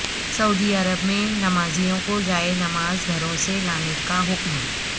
سعودی Arabia میں نمازیوں کو جائے نماز گھروں سے لانے کا حکم